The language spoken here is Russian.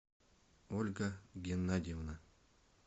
ольга геннадьевна